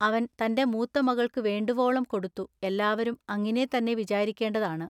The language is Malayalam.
അവൻ തന്റെ മൂത്തമകൾക്കുവേണ്ടുവോളം കൊടുത്തു എല്ലാവരും അങ്ങിനേ തന്നെ വിചാരിക്കേണ്ടതാണു.